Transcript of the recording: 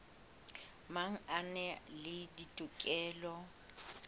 mang a na le dikotola